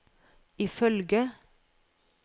ifølge